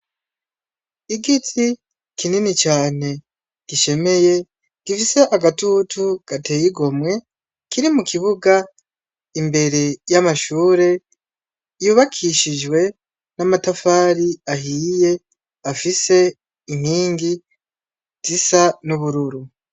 Igiti kinini cane gishemeye, gifise agatutu gateye igomwe kiri mukibuga imbere y’amashure yubakishijwe n’amatafari ahiye afise inkingi zisa n’ubururu.